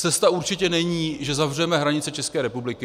Cesta určitě není, že zavřeme hranice České republiky.